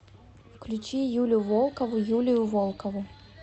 включи юлю волкову юлию волкову